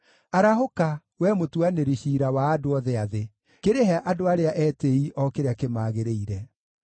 Arahũka, Wee mũtuanĩri ciira wa andũ othe a thĩ; kĩrĩhe andũ arĩa etĩĩi o kĩrĩa kĩmagĩrĩire.